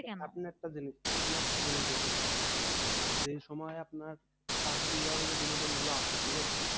আপনি একটা জিনিস আপনি একটা জিনিস দেখেন যে সময় আপনার প্রাকৃতিক ভাবে যে বিনোদন গুলো আসে ঠিক আছে?